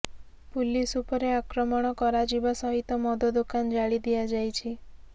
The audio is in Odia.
ପୁଲିସ ଉପରେ ଆକ୍ରମଶ କରାଯିବା ସହିତ ମଦ ଦୋକାନ ଜାଳି ଦିଆଯାଇଛି